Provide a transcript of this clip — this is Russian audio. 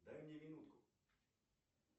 дай мне минутку